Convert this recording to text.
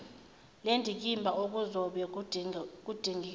lendikimba okuzobe kudingidwa